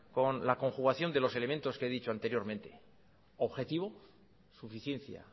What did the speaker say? con la conjugación de los elementos que he dicho anteriormente objetivo suficiencia